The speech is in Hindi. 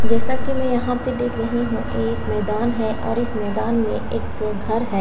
जैसा की में यहाँ पर देख रही हु ये एक मैदान है और इस मैदान में एक घर है।